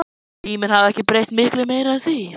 Tíminn hafði ekki breytt miklu meiru en því.